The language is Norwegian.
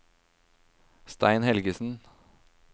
Stein Helgesen